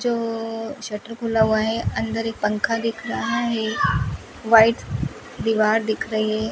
जो शटर खुला हुआ है अंदर एक पंखा दिख रहा है व्हाइट दीवार दिख रही है।